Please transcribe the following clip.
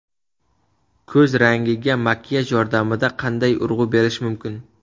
Ko‘z rangiga makiyaj yordamida qanday urg‘u berish mumkin?.